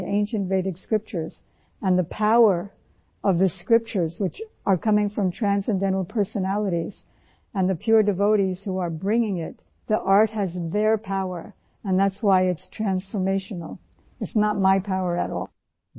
اس لئے قدیم ویدک صحیفوں میں ، جن شخصیات کا ذکر کیا گیا ہے اور جو حقیقی طور پر عقیدت مند ہیں ، اسے ایک آرٹ کے طورپر اپناتے ہیں اور اس قوت کی وجہ سے یہ زندگی تبدیل کرنے والی ہے اور اس میں میری کسی قوت کا دخل نہیں ہے